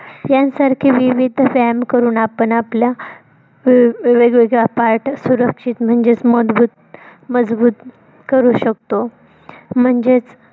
यांसारखे विविध व्यायाम करून आपण आपल्या वेगवेगळ्या PART सुरक्षित म्हणजेच मजबूत मजबूत करू शकतो. म्हणजेच